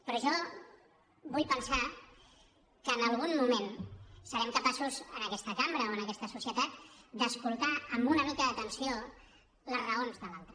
però jo vull pensar que en algun moment serem capaços en aquesta cambra o en aquesta societat d’escoltar amb una mica d’atenció les raons de l’altre